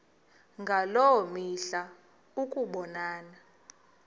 ngaloo mihla ukubonana